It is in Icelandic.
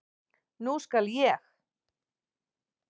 Nú skal ég.